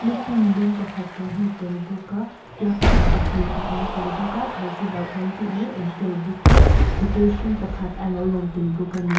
lukhum dum pakhat kan hmu tel bawk a plug hi pahnih a awm tel bawk a thosi hlauh kan tih mai awm tel bawkin pakhat a lo lang tel bawk a ni.